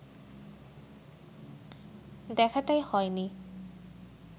দেখাটাই হয়নি